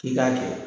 I k'a kɛ